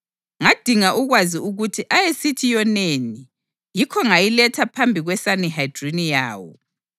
Ngadinga ukwazi ukuthi ayesithi yoneni, yikho ngayiletha phambi kweSanihedrini yawo.